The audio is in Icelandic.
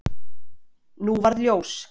Nú varð ljós.